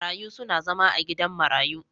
Marayu suna zama a gidan marayu.